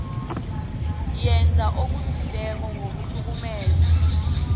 yenza okuthileko ngokuhlukumeza